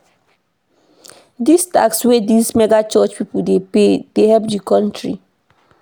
Di tax wey dese mega church pipo dey pay dey help di economy.